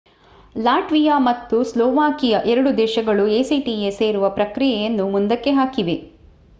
Latvia ಮತ್ತು Slovakia ಎರಡೂ ದೇಶಗಳು acta ಸೇರುವ ಪ್ರಕ್ರಿಯೆಯನ್ನು ಮುಂದಕ್ಕೆ ಹಾಕಿವೆ